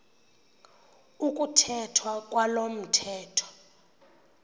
ukuthethwa kwalo mthetho